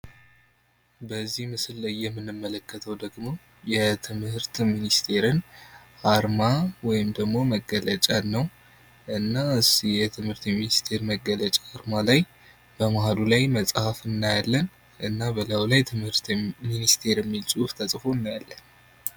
በዚህ ምስል ላይ የምንመለከተው ደግሞ የትምህርት ሚኒስቴር አርማ ወይም ደግሞ መገለጫ ነው። እና የትምህርት ሚኒስቴር መገለጫ አርማ ላይ በመካከሉ ላይ መጽሐፍ እናያለን።